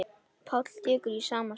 Páll tekur í sama streng.